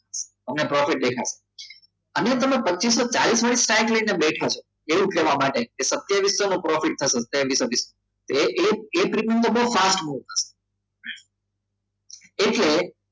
તમને પ્રોફિટ દેખાશે અને તમે પચિસો ચલિસ વાળી સાઈડ લઇને બેઠા છો એવું કહેવા માટે કે સત્યવિસો નું પ્રોફિટ થશે એ એક એક બહુ fast move થશે એટલે